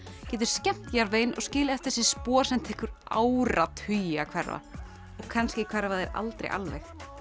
getur skemmt jarðveginn og skilið eftir sig spor sem tekur áratugi að hverfa og kannski hverfa þau aldrei alveg